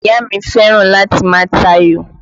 Ìyá mi fẹ́ràn láti má ta ayò